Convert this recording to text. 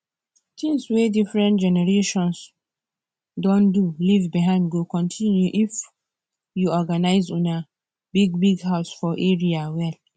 things wey different generations don do leave behind go continue if you organize una bigbig house for area well